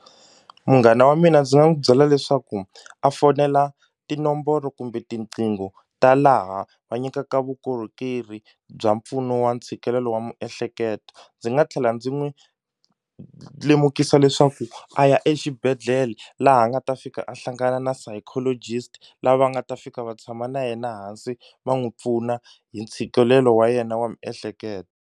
Munghana wa mina ndzi nga n'wu byela leswaku a fonela tinomboro kumbe tiqingho ta laha va nyikaka vukorhokeri bya mpfuno wa ntshikelelo wa miehleketo ndzi nga tlhela ndzi n'wi lemukisa leswaku a ya exibedhlele laha a nga ta fika a hlangana na psychologist lava nga ta fika va tshama na yena hansi va n'wi pfuna hi ntshikelelo wa yena wa miehleketo.